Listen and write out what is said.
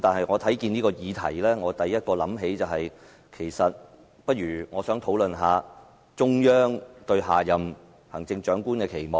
我看到這議題，第一個想法是：我們不如討論一下中央對下任行政長官的期望。